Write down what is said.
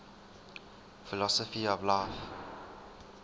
philosophy of life